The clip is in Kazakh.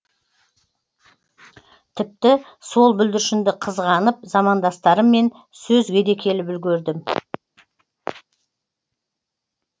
тіпті сол бүлдіршінді қызғанып замандастарыммен сөзге де келіп үлгердім